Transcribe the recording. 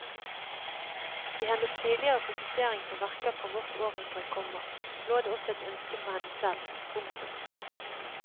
I hennes tidligere fokusering på verker fra vårt århundre, komma lå det også et ønske fra henne selv. punktum